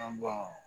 An ba